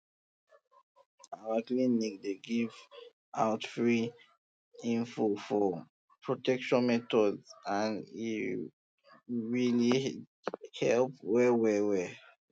our clinic dey give out free info for protection methods and e really dey help well well well